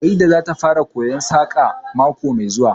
Farida zata fara koyon Saƙa mako mai zuwa